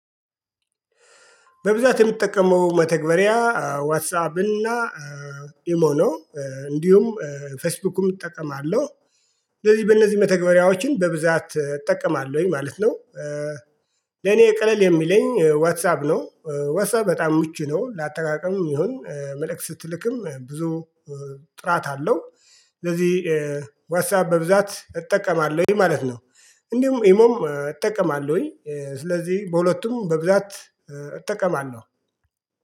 በብዛት የምጠቀመው መተግበሪያ ዋትሳፕ እና ኢሞ ነው እንዲሁም ፌስቡክም እጠቀማለሁ ስለዚህ በእነዚህ መተግበሪያዎችን በብዛት እጠቀማለሁኝ ማለት ነው። ለኔ ቅለል የሚለኝ ዋትሳፕ ነው ዋትሳፕ በጣም ምቹ ነው። ለአጠቃቀም ይሁን መልእክት ስትልክም ብዙ ጥራት አለው። ስለዚህ ዋትሳይፕ በብዛት እጠቀማለሁኝ ማለት ነው። እንዲሁም ኢሞም እጠቀማለሁኝ ስለዚህ በሁለቱም በብዛት እጠቀማለሁ